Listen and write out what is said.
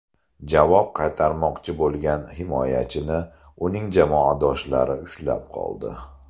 Javob qaytarmoqchi bo‘lgan himoyachini uning jamoadoshlari ushlab qoldi.